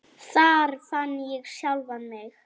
Þar fann ég sjálfan mig.